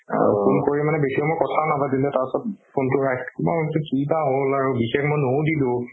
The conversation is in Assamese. phone কৰি বেচি সময় কথাও নাপাতিলে তাৰপিছত phone তো ৰাখ~ মই ভাবিছো কিবা হ'ল আৰু বিশেষ মই নোসুধিলো